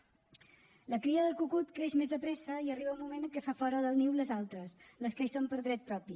la cria del cucut creix més de pressa i arriba un moment en què fa fora del niu les altres les que hi són per dret propi